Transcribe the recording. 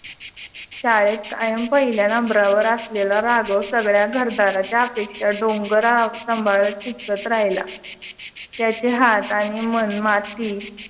शाळेत कायम पहिल्या नंबरावर असलेला राघव सगळ्या घरदारच्या अपेक्षा डोंगरा सांभाळत शिकत राहिला. त्याच्या ह्या हातानी मनमाती